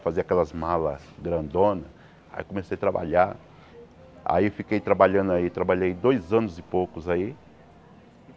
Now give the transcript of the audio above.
Fazia aquelas malas grandonas, aí comecei a trabalhar, aí fiquei trabalhando aí, trabalhei dois anos e poucos aí.